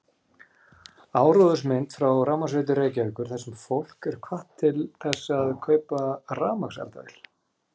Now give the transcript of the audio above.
Áróðursmynd frá Rafmagnsveitu Reykjavíkur þar sem fólk er hvatt til þess að kaupa rafmagnseldavél